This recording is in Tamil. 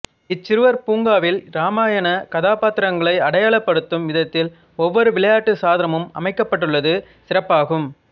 இச்சிறுவர் பூங்காவில் இராமாயணக் கதாபாத்திரங்களை அடையாளப்படுத்தும் விதத்தில் ஒவ்வொரு விளையாட்டுச் சாதனமும் அமைக்கப்பட்டுள்ளது சிறப்பாகும்